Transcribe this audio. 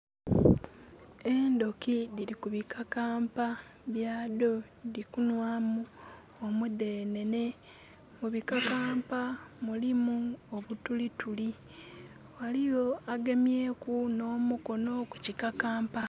Endhoki dhili ku pikakampa byadho dhili kunwamu omudhenhenhe. Mu bikakampa mulimu obutulituli. Ghaliyo agemyeeku nh'omukono ku kikamkampa.